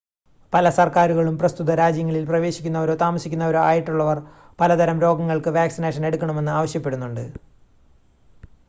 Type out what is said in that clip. പല സർക്കാരുകളും പ്രസ്തുത രാജ്യങ്ങളിൽ പ്രവേശിക്കുന്നവരോ താമസിക്കുന്നവരോ ആയിട്ടുള്ളവർ പലതരം രോഗങ്ങൾക്ക് വാക്സിനേഷൻ എടുക്കണമെന്ന് ആവശ്യപ്പെടുന്നുണ്ട്